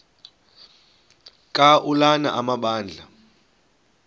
ka ulana amabandla